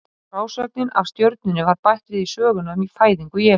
Frásögnin af stjörnunni var bætt við í söguna um fæðingu Jesú.